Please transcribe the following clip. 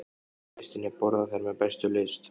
Gestirnir borða þær með bestu lyst.